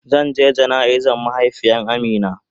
Zan je jana'iza mahaifiyan Amina.